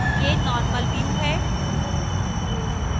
यह normal view है